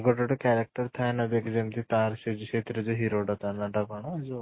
ଗୋଟେ ଗୋଟେ character ଥାଏ ନା ଦେଖ ଯେମିତି ତାର ସେ ସେଇଥିରେ ଯୋଉ hero ଟା ନାଁ ଟା କ'ଣ ଯୋଉ